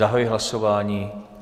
Zahajuji hlasování.